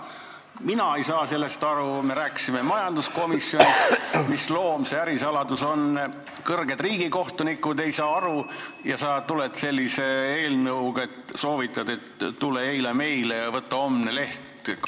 Mina ei saa sellest aru, kuigi me rääkisime majanduskomisjonis, mis loom see ärisaladus on, ka kõrged riigikohtunikud ei saa aru, aga sa tuled eelnõuga, kus soovitad, et tule eile meile ja võta homne leht kaasa.